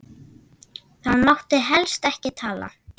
Þá mátti helst ekki tala.